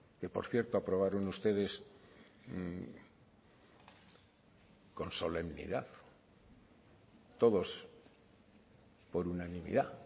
que por cierto aprobaron ustedes con solemnidad todos por unanimidad